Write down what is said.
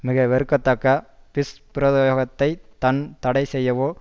மிக வெறுக்கத்தக்க துஷ்பிரயோகத்தை தான் தடைசெய்யவோ